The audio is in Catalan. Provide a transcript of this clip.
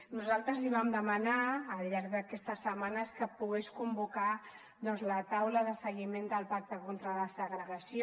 nosaltres li vam demanar al llarg d’aquestes setmanes que pogués convocar doncs la taula de seguiment del pacte contra la segregació